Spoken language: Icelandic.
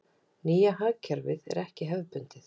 Nýja hagkerfið er ekki hefðbundið.